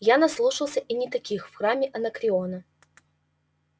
я наслушался и не таких в храме анакреона